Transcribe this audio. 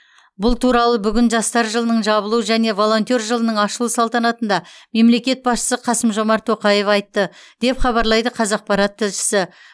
бұл туралы бүгін жастар жылының жабылу және волонтер жылының ашылу салтанатында мемлекет басшысы қасым жомарт тоқаев айтты деп хабарлайды қазақпарат тілшісі